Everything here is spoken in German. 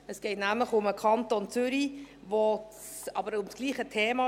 Es geht nämlich um den Kanton Zürich, aber es geht um dasselbe Thema.